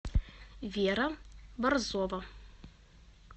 вера борзова